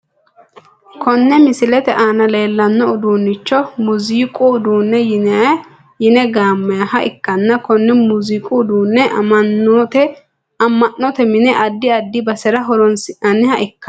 Kone misilete aana leelano uduunicho muuziqu uduune yine gaamayiha ikanna kone muiziqqu uduune amanote mine adi adi basera horonsinaniha ikano.